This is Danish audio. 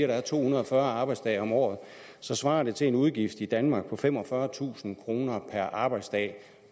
der er to hundrede og fyrre arbejdsdage om året så svarer det til en udgift i danmark på femogfyrretusind kroner per arbejdsdag